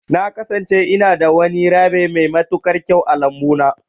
Na kasance ina da wani rabbi mai matuƙar kyau a lambu na.